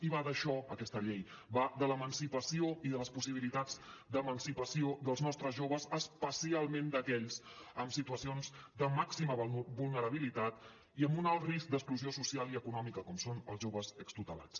i va d’això aquesta llei va de l’emancipació i de les possibilitats d’emancipació dels nostres joves especialment d’aquells amb situacions de màxima vulnerabilitat i amb un alt risc d’exclusió social i econòmica com són els joves extutelats